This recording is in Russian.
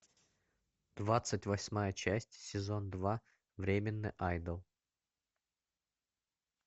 двадцать восьмая часть сезон два временный айдол